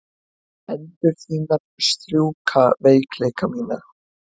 Hendur þínar strjúka veikleika mína.